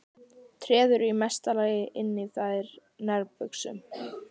Treður í mesta lagi inn í þær nærbuxum.